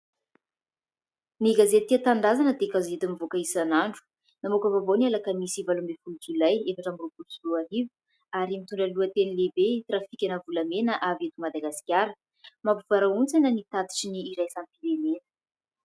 Ny gazety tia tanindrazana dia gazety mivoaka isan'andro namoaka vaovao ny Alakamisy valo ambin'ny folo jolay efatra amby roapolo sy roarivo, ary mitondra ny lohateny lehibe trafika-na volamena avy eto Madagasikara mampivarahontsana ny tatitry ny iraisam-pirenena.